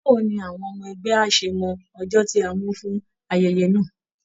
Báwo ni àwọn ọmọ ẹgbẹ́ á ṣe mọ ọjọ́ tí a mú fún ayẹyẹ náà?